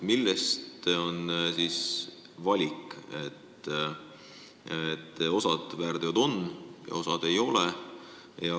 Millest see valik, et osa väärtegusid on siin loetelus ja osa ei ole?